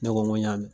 Ne ko ŋo n y'a mɛn